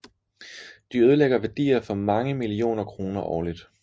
De ødelægger værdier for mange millioner kroner årlig